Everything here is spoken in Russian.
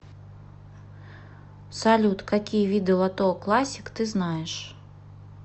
салют какие виды лото классик ты знаешь